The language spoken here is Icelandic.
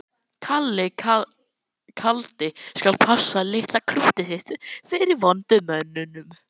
Kalli kaldi skal passa litla krúttið sitt fyrir vondu mönnunum.